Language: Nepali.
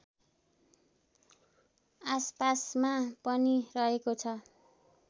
आसपासमा पनि रहेको छ